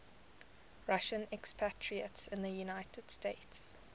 russian expatriates in the united states